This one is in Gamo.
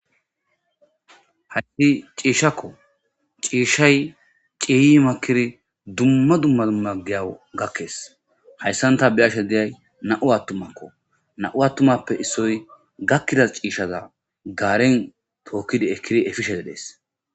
Hage ciishshakoo; ciishshay ciiyyi makkiri dumma dumma giyawu gakkes; hayssan tha be7ashe de7iyay naa7u aththumakko; naa7u aththumape issoy gakkiza ciishshata gaare thookkidi ekkide efishee de7ees.